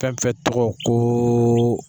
Fɛn fɛn tɔgɔ koo.